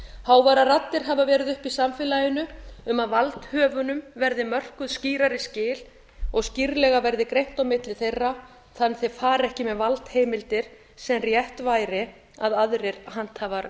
háværar raddir hafa verið uppi í samfélaginu um að valdhöfunum verði mörkuð skýrari skil og að skýrlega verði greint á milli þeirra þannig að þeir fari ekki með valdheimildir sem rétt væri að aðrir handhafar